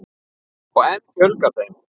Og enn fjölgar þeim.